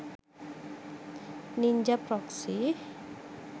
ninja proxy